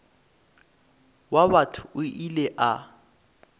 wa batho o ile a